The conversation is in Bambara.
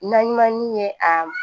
Naɲumanni ye a